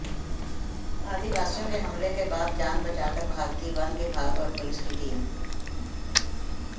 आदिवासियों के हमले के बाद जान बचाकर भागती वन विभाग और पुलिस की टीम